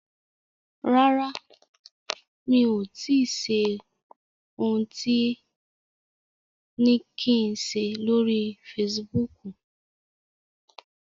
Rárá mi ò tíì ṣe ohun tẹ ni kí n ṣe lóri Facebook.